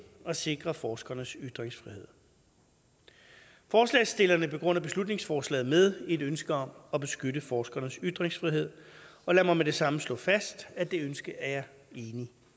at sikre forskernes ytringsfrihed forslagsstillerne begrunder beslutningsforslaget med et ønske om at beskytte forskernes ytringsfrihed og lad mig med det samme slå fast at det ønske er jeg enig